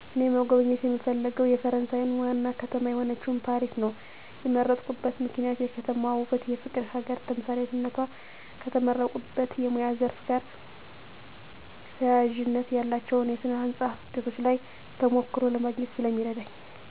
እኔ መጎብኘት የምፈልገው የፈረሳየን ዋና ከተማ የሆነችውን ፓሪስ ነው የመረጥኩበት ምክንያት የከተማዋ ውበትና የፍቅር ሀገር ተምሳሌትነቷ። ከተመረቁበት የሙያ ዘርፍ ጋር ተያያዥነት ያላቸውን የስነ ህንፃ ውጤቶች ላይ ተሞክሮ ለማግኘት ስለሚረዳኝ።